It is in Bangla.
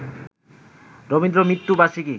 রবীন্দ্র-মৃত্যুবার্ষিকী